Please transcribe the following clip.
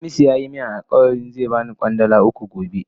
Hamisu ya yi min alkawali zai ba ni Kwandala tara gobe.